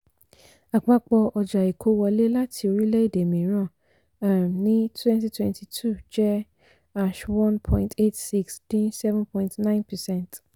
àpapọ̀ ọjà ìkó wọlé láti orílẹ̀ èdè mìíràn um ní twenty twenty two n jẹ́ one point eight six dín seven point nine percent